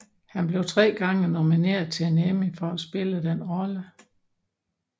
Han blev tre gange nomineret til en Emmy for at spille den rolle